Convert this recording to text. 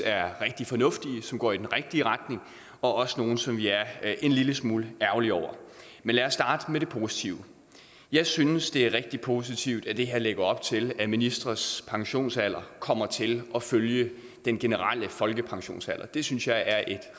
er rigtig fornuftige og som går i den rigtige retning og også nogle som vi er en lille smule ærgerlige over men lad os starte med det positive jeg synes det er rigtig positivt at det her lægger op til at ministres pensionsalder kommer til at følge den generelle folkepensionsalder det synes jeg er et